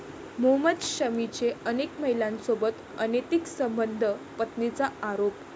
मोहम्मद शमीचे अनेक महिलांसोबत अनैतिक संबंध, पत्नीचा आरोप